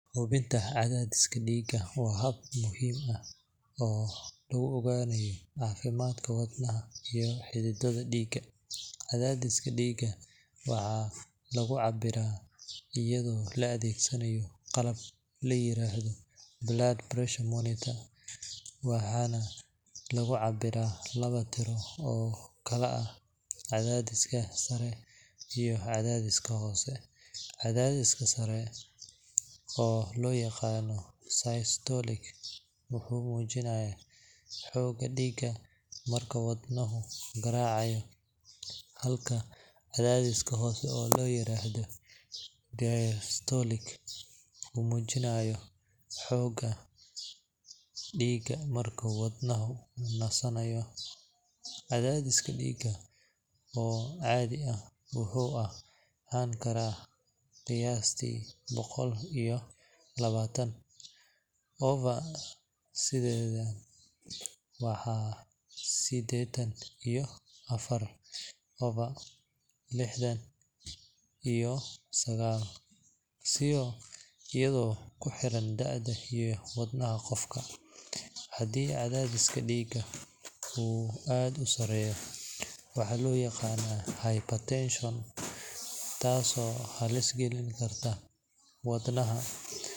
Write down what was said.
Hubinta cadaadiska dhiigga waa hab muhiim ah oo lagu ogaanayo caafimaadka wadnaha iyo xididdada dhiigga. Cadaadiska dhiigga waxaa lagu cabbiraa iyadoo la adeegsanayo qalab la yiraahdo blood pressure monitor, waxaana lagu cabbiraa laba tiro oo kala ah cadaadiska sare iyo cadaadiska hoose. Cadaadiska sare oo loo yaqaan systolic wuxuu muujinayaa xoogga dhiigga marka wadnuhu garaacayo, halka cadaadiska hoose oo la yiraahdo diastolic uu muujiyo xoogga dhiigga marka wadnuhu nasanayo. Cadaadis dhiig oo caadi ah wuxuu ahaan karaa qiyaastii boqol iyo labaatan over siddeetan, ama siddeetan iyo afar over lixdan iyo sagaal, iyadoo ku xiran da'da iyo xaaladda qofka. Haddii cadaadiska dhiigga uu aad u sarreeyo, waxaa loo yaqaan hypertension, taasoo halis gelin karta wadnaha.